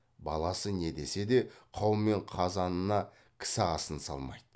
баласы не десе де қаумен қазанына кісі асын салмайды